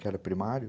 Que era primário.